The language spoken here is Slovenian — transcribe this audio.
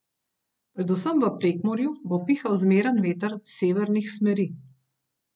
Predvsem v Prekmurju bo pihal zmeren veter severnih smeri.